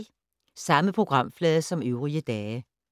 Samme programflade som øvrige dage